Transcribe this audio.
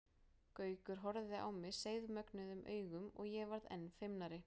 Gaukur horfði á mig seiðmögnuðum augum og ég varð enn feimnari.